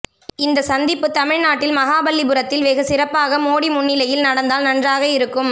இந்த சந்திப்பு தமிழ்நாட்டில் மகாபலிபுரத்தில் வெகு சிறப்பாக மோடி முன்னிலையில் நடந்தால் நன்றாக இருக்கும்